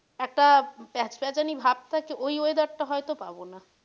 একটা প্যাচ প্যাচানি ভাব থাকে ওই weather টা হয়তো পাবো না।